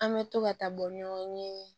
An bɛ to ka taa bɔ ɲɔgɔn ye